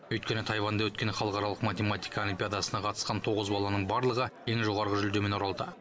өйткені тайваньда өткен халықаралық математика олимпиадасына қатысқан тоғыз баланың барлығы ең жоғарғы жүлдемен оралды